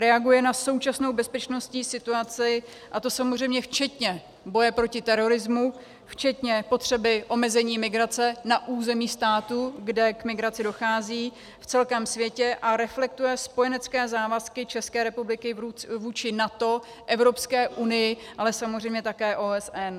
Reaguje na současnou bezpečnostní situaci, a to samozřejmě včetně boje proti terorismu, včetně potřeby omezení migrace na území státu, kde k migraci dochází, v celém světě, a reflektuje spojenecké závazky České republiky vůči NATO, Evropské unii, ale samozřejmě také OSN.